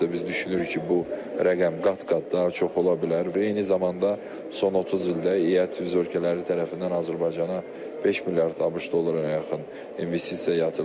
Biz düşünürük ki, bu rəqəm qat-qat daha çox ola bilər və eyni zamanda son 30 ildə ET üzv ölkələri tərəfindən Azərbaycana 5 milyard ABŞ dollarına yaxın investisiya yatırılıb.